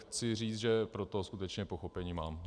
Chci říct, že pro to skutečně pochopení mám.